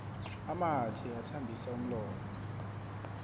amathe athambisa umlomo